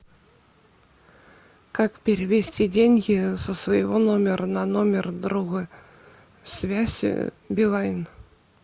как перевести деньги со своего номера на номер друга связь билайн